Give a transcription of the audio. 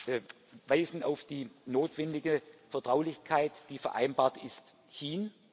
Wir weisen auf die notwendige Vertraulichkeit, die vereinbart ist, hin.